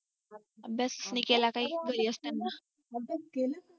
अभ्यास कमी केला नाही घरी असताना अभ्यास केला